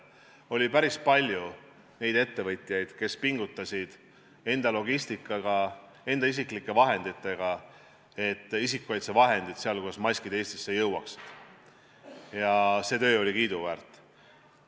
Oli päris palju neid ettevõtjaid, kes pingutasid enda logistikaga, enda isiklike vahenditega, et isikukaitsevahendid, sh maskid, Eestisse jõuaks, ja see töö oli kiiduväärt.